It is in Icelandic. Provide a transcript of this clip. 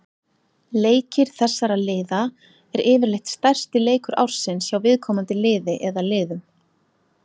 Leikir þessara liða er yfirleitt stærsti leikur ársins hjá viðkomandi liði eða liðum.